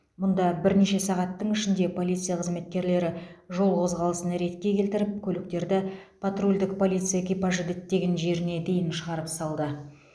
мұнда бірнеше сағаттың ішінде полиция қызметкерлері жол қозғалысын ретке келтіріп көліктерді патрульдік полиция экипажы діттеген жеріне дейін шығарып салды